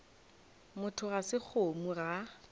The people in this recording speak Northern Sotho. motho ga se kgomo ga